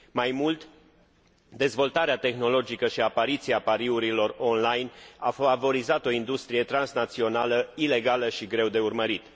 Mai mult, dezvoltarea tehnologică și apariția pariurilor online au favorizat o industrie transnațională ilegală și greu de urmărit.